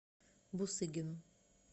бусыгину